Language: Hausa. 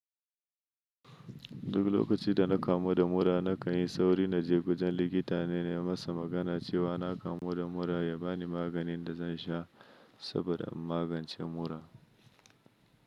Duk lokacin da na kamu da mura na kan yi sauri na je wajen likita ne na yi masa magana cewa na kamu da mura ya ba ni maganin da zan sha saboda in magance mura.